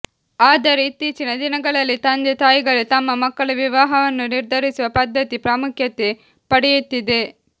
ಆದರೆ ಇತ್ತೀಚಿನ ದಿನಗಳಲ್ಲಿ ತಂದೆ ತಾಯಿಗಳೇ ತಮ್ಮ ಮಕ್ಕಳ ವಿವಾಹವನ್ನು ನಿರ್ಧರಿಸುವ ಪದ್ಧತಿ ಪ್ರಾಮುಖ್ಯತೆ ಪಡೆಯುತ್ತಿದೆ